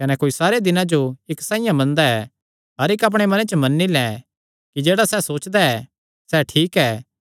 कने कोई सारे दिनां जो इक्क साइआं मनदा ऐ हर इक्क अपणे मने च मन्नी लैं कि जेह्ड़ा सैह़ सोचदा ऐ सैह़ ठीक ऐ